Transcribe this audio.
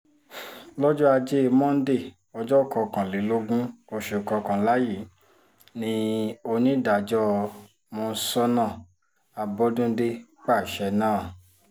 lọ́jọ́ ajé monde ọjọ́ kọkànlélógún oṣù kọkànlá yìí ni onídàájọ́ monsónà àbọ́dúndé pàṣẹ náà